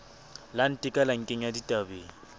la nteka la nkenya ditabeng